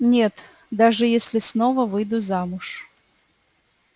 нет даже если снова выйду замуж